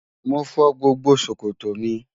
Mo fọ́ gbogbo sọ̀kọ̀tọ́ mi